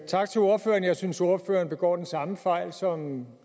tak til ordføreren jeg synes ordføreren begår den samme fejl som